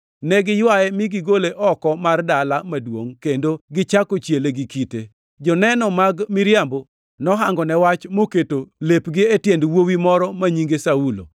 Ne giywaye mi gigole oko mar dala maduongʼ kendo gichako chiele gi kite. Joneno mag miriambo nohangone wach moketo lepgi e tiend wuowi moro ma nyinge Saulo.